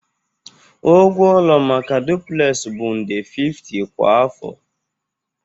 Ụgwọ ụlọ maka duplex bụ nde 50 kwa afọ